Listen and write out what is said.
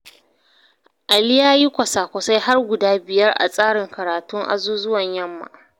Ali ya yi kwasa-kwasai har guda biyar a tsarin karatun azuzuwan yamma.